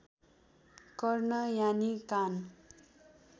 कर्ण यानि कान